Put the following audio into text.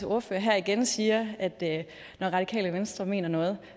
ordfører her igen siger at at når radikale venstre mener noget